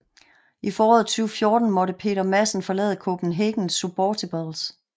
I foråret 2014 måtte Peter Madsen forlade Copenhagen Suborbitals